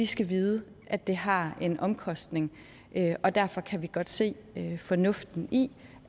skal vide at det har en omkostning og derfor kan vi godt se fornuften i